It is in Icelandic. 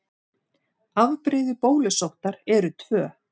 Afbrigði bólusóttar eru tvö.